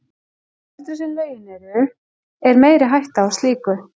Því eldri sem lögin eru, er meiri hætta á slíku.